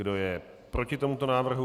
Kdo je proti tomuto návrhu?